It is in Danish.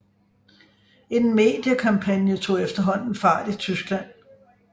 En mediekampagne tog efterhånden fart i Tyskland